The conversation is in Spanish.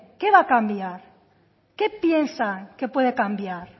qué va a cambiar qué piensan que puede cambiar